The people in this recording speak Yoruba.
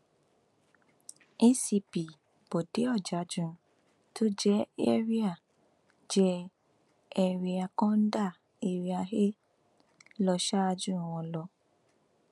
acp bọde ọjájún tó jẹ ẹrià jẹ ẹrià kọńdà area a lọ ṣáájú wọn lọ